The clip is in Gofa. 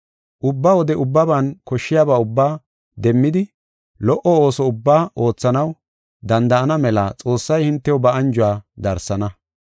Ubba wode ubbaban koshshiyaba ubbaa demmidi lo77o ooso ubbaa oothanaw danda7ana mela Xoossay hintew ba anjuwa darsana.